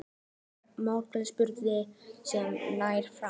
Það er í virkum sprungusveimi sem nær frá